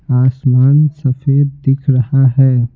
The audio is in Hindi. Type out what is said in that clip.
आसमान सफेद दिख रहा है।